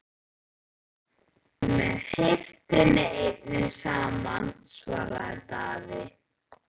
Með heiftinni einni saman, svaraði Daði.